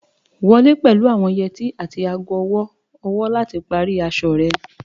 Wọle pẹlu awọn yeti ati aago ọwọ-ọwọ lati pari aṣọ rẹ